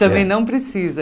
Também não precisa.